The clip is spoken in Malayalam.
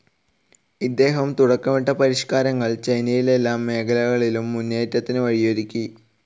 ഇദ്ദേഹം തുടക്കമിട്ട പരിഷ്ക്കാരങ്ങൾ ചൈനയിൽ എല്ലാ മേഖലകളിലും മുന്നേറ്റത്തിനു വഴിയൊരുക്കി.